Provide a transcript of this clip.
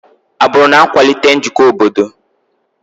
Agbụrụ na-akwalite njikọ obodo.